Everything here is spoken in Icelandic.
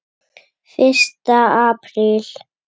Fyrsta apríl.